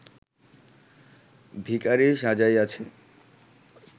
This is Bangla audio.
ভিখারী সাজাইয়াছি